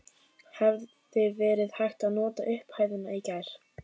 Hefði verið hægt að nota upphæðina í gær?